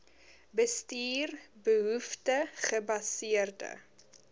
bestuur behoefte gebaseerde